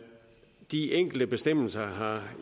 de enkelte bestemmelser